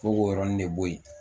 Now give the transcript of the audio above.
Fo k'o yɔrɔnin de bɔ yen